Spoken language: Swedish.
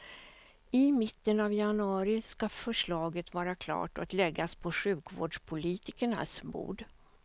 I mitten av januari ska förslaget vara klart att läggas på sjukvårdspolitikernas bord.